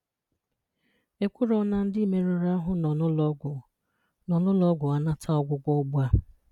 E kwùrọ̀ na ndị mèrùrù ahụ̀ nọ n’ụlọ̀ọgwụ nọ n’ụlọ̀ọgwụ anàtà ọgwụ̀gwọ ùgbùà.